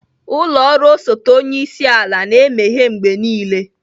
Ụlọ ọrụ osote onye isi ala na-emeghe mgbe niile